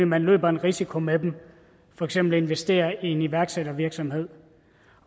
man løber en risiko med dem ved for eksempel at investere i en iværksættervirksomhed